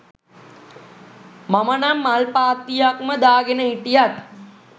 මම නම් මල් පාත්තියක්ම දාගෙන හිටියත්